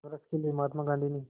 संघर्ष के लिए महात्मा गांधी ने